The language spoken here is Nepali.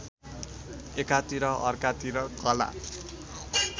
एकातिर अर्कातिर कला